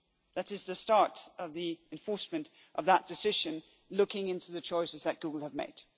that is the start of the enforcement of that decision, looking into the choices that Google have made.